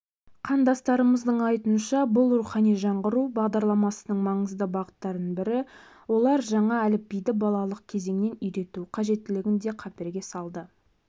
қандастарымыздың айтуынша бұл рухани жаңғыру бағдарламасының маңызды бағыттарының бірі олар жаңа әліпбиді балалық кезеңнен үйрету қажеттігін де қаперге салды